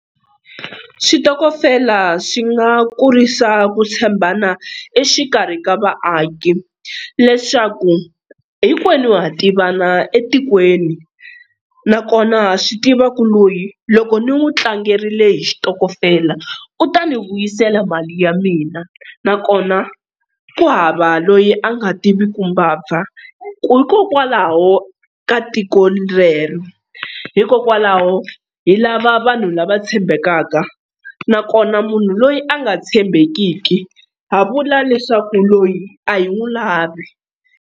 Xitokofela xi nga kurisa ku tshembana exikarhi ka vaaki leswaku hinkwenu ha tivana etikweni nakona ha swi tiva ku loyi loko ni n'wi tlangerile hi xitokofela u ta ni vuyisela mali ya mina nakona ku hava loyi a nga tivi ku mbabva hikokwalaho ka tiko rero hikokwalaho hi lava vanhu lava tshembekaka nakona munhu loyi a nga tshembekiki ha vula leswaku loyi a hi n'wu lavi.